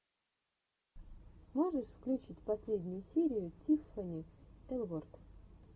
можешь включить последнюю серию тиффани элворд